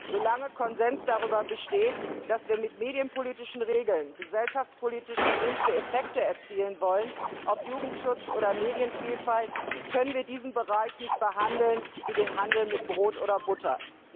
Solange Konsens darüber besteht, dass wir mit medienpolitischen Regeln gesellschaftspolitisch gewünschte Effekte erzielen wollen ob Jugendschutz oder Medienvielfalt können wir diesen Bereich nicht behandeln wie den Handel mit Brot oder Butter.